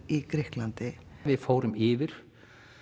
í Grikklandi við fórum yfir